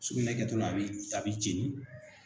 Sugunɛ kɛtola a b'i a b'i jeni.